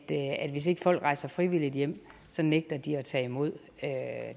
hvis ikke folk rejser frivilligt hjem nægter de at tage imod